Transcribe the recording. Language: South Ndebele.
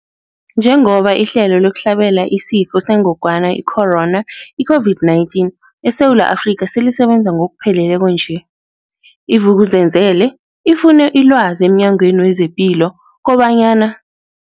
Njengoba ihlelo lokuhlabela isiFo sengogwana i-Corona, i-COVID-19, eSewula Afrika selisebenza ngokupheleleko nje, i-Vuk'uzenzele ifune ilwazi emNyangweni wezePilo kobanyana.